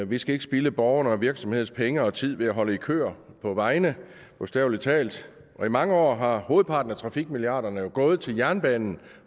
vi skal ikke spilde borgernes og virksomhedernes penge og tid ved at holde i køer på vejene bogstavelig talt og i mange år har hovedparten af trafikmilliarderne jo gået til jernbanen